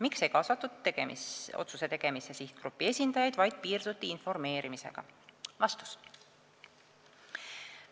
Miks ei kaasatud otsuse tegemisse sihtgrupi esindajaid, vaid piirduti ainult informeerimisega?